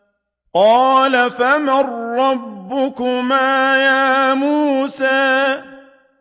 قَالَ فَمَن رَّبُّكُمَا يَا مُوسَىٰ